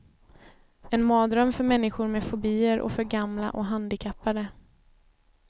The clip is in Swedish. En mardröm för människor med fobier och för gamla och handikappade.